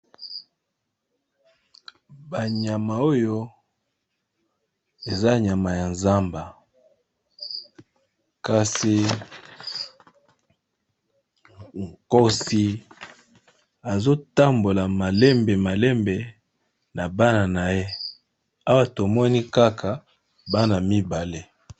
Ba nyama oyo eza nyama ya zamba kasi nkosi azo tambola malembe na Bana naye baza mibali Kaka.